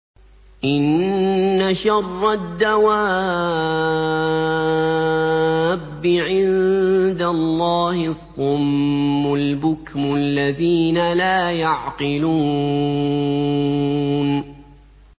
۞ إِنَّ شَرَّ الدَّوَابِّ عِندَ اللَّهِ الصُّمُّ الْبُكْمُ الَّذِينَ لَا يَعْقِلُونَ